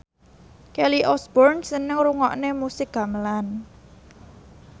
Kelly Osbourne seneng ngrungokne musik gamelan